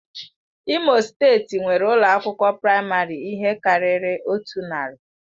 Imo steeti nwere ụlọ akwụkwọ praịmarị ihe karịrị otu narị.